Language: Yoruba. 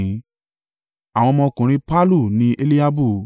Àwọn ọmọkùnrin Pallu ni Eliabu,